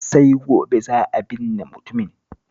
Sai gobe za a binne mutumin